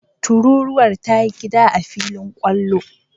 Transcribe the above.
Tururuwar ta yi gida a filin kwallo.